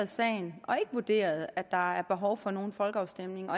sagen og har ikke vurderet at der er behov for nogen folkeafstemning